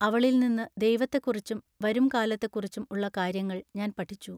അവളിൽനിന്നു ദൈവത്തെക്കുറിച്ചും വരും കാലത്തെക്കുറിച്ചും ഉള്ള കാര്യങ്ങൾ ഞാൻ പഠിച്ചു.